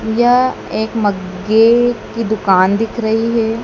यह एक मग्गे की दुकान दिख रही है।